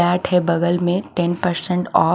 है बगल में टेन परसेंट ऑफ --